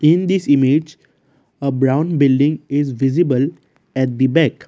in this image a brown building is visible at the back.